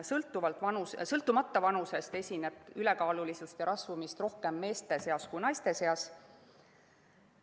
Sõltumata vanusest esineb ülekaalulisust ja rasvumist rohkem meeste kui naiste seas.